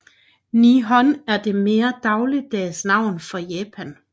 Nihon er det mere dagligdags navn for Japan